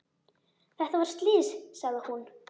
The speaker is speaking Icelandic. Þetta var slys, sagði hún.